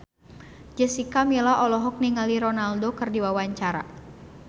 Jessica Milla olohok ningali Ronaldo keur diwawancara